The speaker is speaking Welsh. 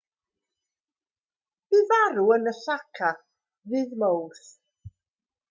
bu farw yn osaka ddydd mawrth